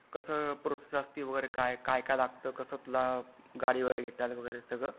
कसा प्रोसेस असती वगरे काय काय लागत तुला गाडी वगैरे घेताना वगैरे सगळं .